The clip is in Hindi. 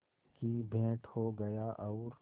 की भेंट हो गया और